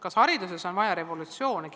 Kas hariduses on vaja revolutsiooni?